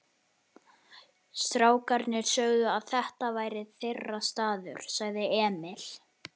Strákarnir sögðu að þetta væri þeirra staður, sagði Emil.